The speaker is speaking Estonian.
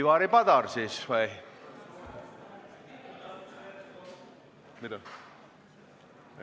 Ivari Padar siis või?